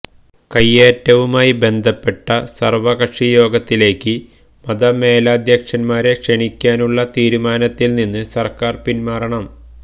കൈയേറ്റവുമായി ബന്ധപ്പെട്ട സര്വ്വകക്ഷി യോഗത്തിലേക്ക് മതമേലദ്ധ്യക്ഷന്മാരെ ക്ഷണിക്കാനുള്ള തീരുമാനത്തില് നിന്ന് സര്ക്കാര് പിന്മാറണം